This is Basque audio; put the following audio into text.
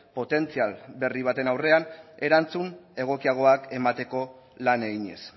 potentzial berri baten aurrean erantzun egokiagoak emateko lan eginez